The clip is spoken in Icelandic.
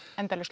endalaus